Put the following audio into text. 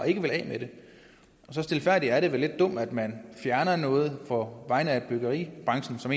ikke vil af med det og stilfærdigt sagt er det vel lidt dumt at man fjerner noget på vegne af byggeribranchen som